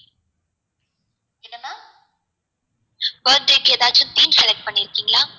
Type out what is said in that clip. birthday க்கு எதாச்சும் theme select பண்ணிருகிங்களா